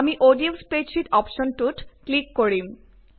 আমি ODF spreadsheet অপ্শ্বনটোত click কৰিম